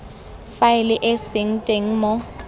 faele e seng teng mo